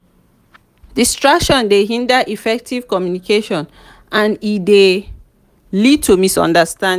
distractions dey hinder effective communication and e dey lead to misunderstanding.